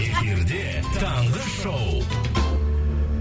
эфирде таңғы шоу